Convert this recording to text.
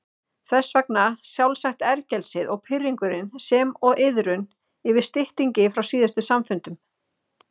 Þess vegna sjálfsagt ergelsið og pirringurinn sem og iðrun yfir styttingi frá síðustu samfundum.